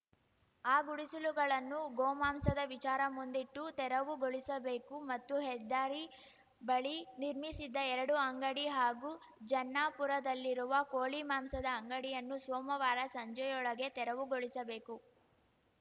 ಆ ಗುಡಿಸಲುಗಳನ್ನು ಗೋಮಾಂಸದ ವಿಚಾರ ಮುಂದಿಟ್ಟು ತೆರವುಗೊಳಿಸಬೇಕು ಮತ್ತು ಹೆದ್ದಾರಿ ಬಳಿ ನಿರ್ಮಿಸಿದ್ದ ಎರಡು ಅಂಗಡಿ ಹಾಗೂ ಜನ್ನಾಪುರದಲ್ಲಿರುವ ಕೋಳಿ ಮಾಂಸದ ಅಂಗಡಿಯನ್ನು ಸೋಮವಾರ ಸಂಜೆಯೊಳಗೆ ತೆರವುಗೊಳಿಸಬೇಕು